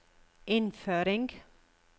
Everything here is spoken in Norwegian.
innføring